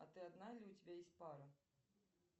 а ты одна или у тебя есть пара